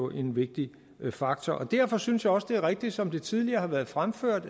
en vigtig faktor derfor synes jeg også det er rigtigt som det tidligere har været fremført